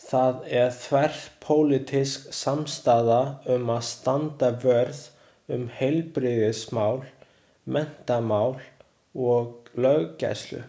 Það er þverpólitísk samstaða um að standa vörð um heilbrigðismál, menntamál og löggæslu.